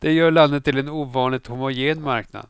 Det gör landet till en ovanligt homogen marknad.